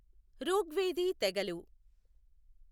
ౠగ్వేదీ తెగలు